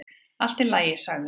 """Allt í lagi, sagði hún."""